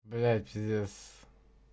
блять пиздец